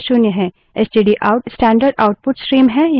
stdout standard output stream है